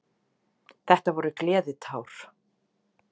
Þetta voru gleðitár.